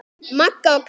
Magga og Kata.